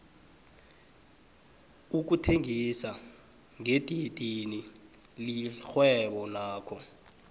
ukuthengisa ngedidini lirhwebo nakho